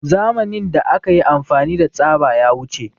Zamanin da akayi amfani da tsaba ya wuce